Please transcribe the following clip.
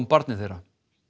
barni þeirra